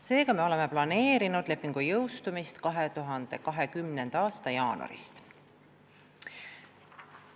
Seega me oleme planeerinud, et leping jõustub 2020. aasta jaanuaris.